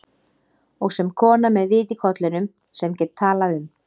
Og sem kona með vit í kollinum, sem get talað um